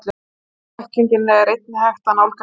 Sama bækling er einnig hægt að nálgast hér.